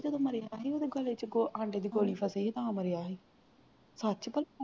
ਜਦੋਂ ਮਰਿਆ ਸੀ ਉਦੇ ਗਲੇ ਦੇ ਵਿੱਚ ਅੰਡੇ ਦੀ ਗੋਲੀ ਵੱਜੀ ਸੀ ਤਾਂ ਮਰਿਆ ਸੀ ਸਚ ਭਲਾ